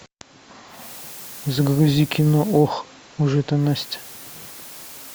загрузи кино ох уж эта настя